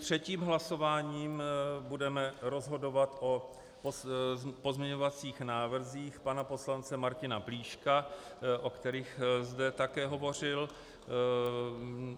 Třetím hlasováním budeme rozhodovat o pozměňovacích návrzích pana poslance Martina Plíška, o kterých zde také hovořil.